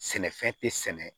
Sɛnɛfɛn tɛ sɛnɛ